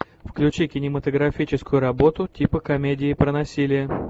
включи кинематографическую работу типа комедии про насилие